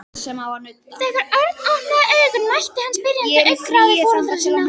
Þegar Örn opnaði augun mætti hann spyrjandi augnaráði foreldra sinna.